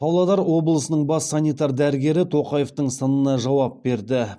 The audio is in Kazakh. павлодар облысының бас санитар дәрігері тоқаевтың сынына жауап берді